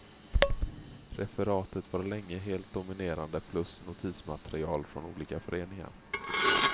Referatet var länge helt dominerande, plus notismaterial från olika föreningar.